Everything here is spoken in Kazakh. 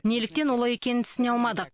неліктен олай екенін түсіне алмадық